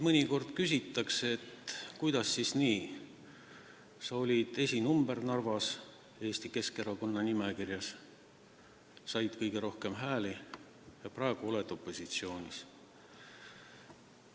Minult küsitakse mõnikord, et kuidas siis nii, sa olid Narvas Eesti Keskerakonna nimekirja esinumber, said kõige rohkem hääli ja praegu oled opositsioonis.